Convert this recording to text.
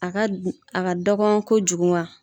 A ka a ka dɔgɔn kojugun wa.